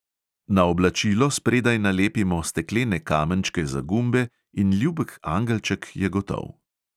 Na oblačilo spredaj nalepimo steklene kamenčke za gumbe in ljubek angelček je gotov.